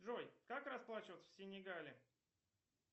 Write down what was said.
джой как расплачиваться в сенегале